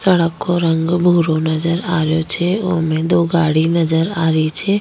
सड़क को रंग भूरो नजर आ रियो छे उ में दो गाड़ी नजर आ रही छे।